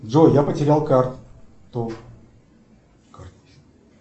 джой я потерял карту